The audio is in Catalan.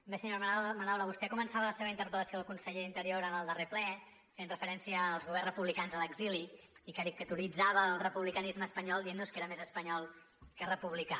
bé senyora madaula vostè començava la seva interpel·lació al conseller d’interior en el darrer ple fent referència als governs republicans a l’exili i caricaturitzava el republicanisme espanyol dient nos que era més espanyol que republicà